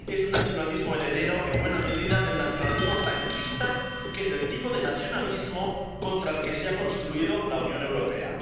Es un nacionalismo heredero, en buena medida, del nacionalismo franquista, que es el tipo de nacionalismo contra el que se ha construido la Unión Europea.